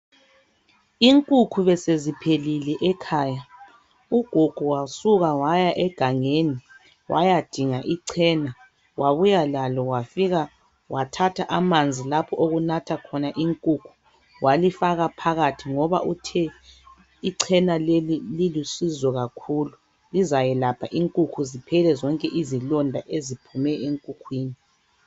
Inkukhu beseziphelile ekhaya. Ugogo wasuka waya egangeni, wayadinga ichena wabuya lalo wafika wathatha amanzi lapho okunatha khona inkukhu, walifaka phakathi ngoba uthe ichena leli lilusizo kakhulu. Lizayelapha inkukhu ziphele zonke izilonda eziphume enkukhwini.